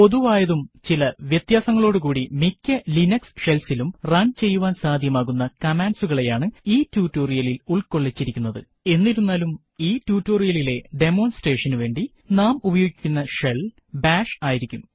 പൊതുവായതും ചില വ്യത്യാസങ്ങളോടുകൂടി മിക്ക ലിനക്സ് ഷെൽസ് ഇലും run ചെയ്യുവാൻ സാധ്യമാകുന്ന കമാൻഡ്കളെയാണ് ഈ ട്യൂട്ടോറിയലിൽ ഉൾക്കൊള്ളിച്ചിരിക്കുന്നത് എന്നിരുന്നാലും ഈ ട്യൂട്ടോറിയലിലെ ഡെമോൺസ്ട്രേഷൻ നു വേണ്ടി നാം ഉപയോഗിക്കുന്ന ഷെൽ ബാഷ് ആയിരിക്കും